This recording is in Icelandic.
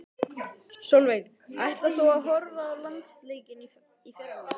Sólveig: Ætlar þú að horfa á landsleikinn í fyrramálið?